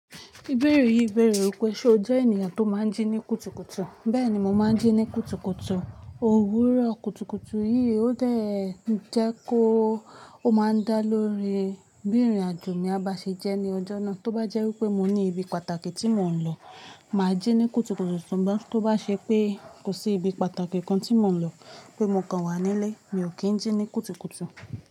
Ìbèérè yìí bèérè wípé ṣe o jẹ́ ènìyàn tó máa ń jí ní kùtùkùtù? Bẹ́ẹ̀ni mo máa ń jí ní kùtùkùtù. Ohun òwúrọ̀ kùtùkùtù yìí ó dàẹ́ jẹ́ kó máa ń dá lórí bí ìrìn-àjò mi a bá ṣe jẹ́ ní ọjọ́ náà. Tó bá jẹ́ wípé mo ní ibi pàtàkì tí mò ń lọ, mà á jí ní kùtùkùtù. Tó bá ṣe pé kò sí ibi pàtàkì kan tí mò ń lọ pé mo kàn wà nílé, mi ò kí ń jí ní kùtùkùtù.